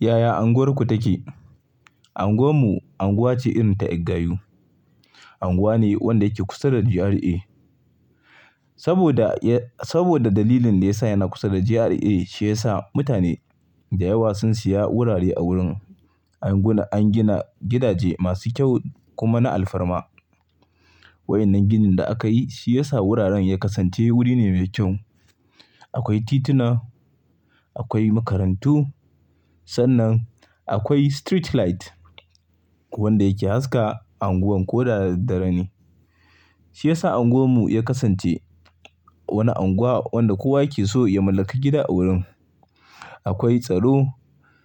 Yaya anguwarku take? Anguwar mu, anguwa ce irin ta gayu. Anguwa ne wanda yake kusa da GRA. Saboda dalilin da ya sa yana kusa da GRA, shi ya sa mutane da yawa sun siya wurare a wurin. An gina gidaje masu kyau kuma na alfarma. Wa'innan ginin da aka yi shi ya sa wuraren ya kasance, wuri ne mai kyau. Akwai tituna, akwai makarantu. Sannan akwai street light wanda yake haska unguwar ko da dare ne. Shi ya sa unguwar mu ya kasance wanda kowa yake so ya mallaki gida a wurin. Akwai tsaro.